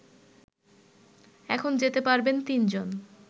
এখন যেতে পারবেন তিনজন